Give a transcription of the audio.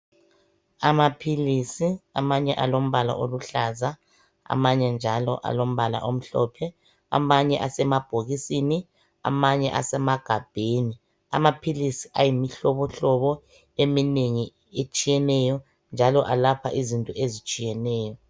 Amaphilisi amanye alombala oluhlaza, amanye njalo alombala omhlophe, amanye esamabhokisini, amanye esemagabheni. Amaphilisi ayimihlobohlobo eminengi etshiyeneyo njalo alapha izinto ezitshiyeneyo.